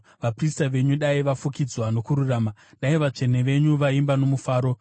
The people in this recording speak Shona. Vaprista venyu dai vafukidzwa nokururama; dai vatsvene venyu vaimba nomufaro.”